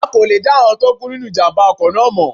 A kò lè dá àwọn tó kú nínu ìjàmbá ọkọ̀ náà mọ̀